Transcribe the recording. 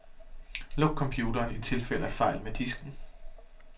Luk computeren i tilfælde af fejl med disken.